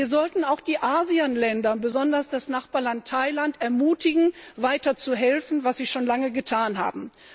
Wir sollten auch die ASEAN Länder, besonders das Nachbarland Thailand, ermutigen, weiter zu helfen was sie schon lange getan haben.